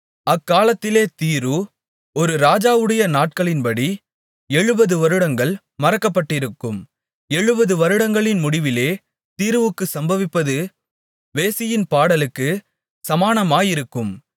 அக்காலத்திலே தீரு ஒரு ராஜாவுடைய நாட்களின்படி எழுபது வருடங்கள் மறக்கப்பட்டிருக்கும் எழுபது வருடங்களின் முடிவிலே தீருவுக்குச் சம்பவிப்பது வேசியின் பாடலுக்குச் சமானமாயிருக்கும்